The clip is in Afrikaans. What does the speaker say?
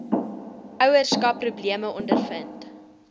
ouerskap probleme ondervind